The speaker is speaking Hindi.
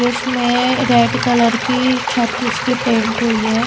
इसमें रेड कलर की छत इसकी पेंट हुई है।